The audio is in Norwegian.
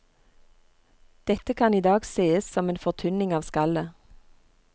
Dette kan i dag sees som en fortynning av skallet.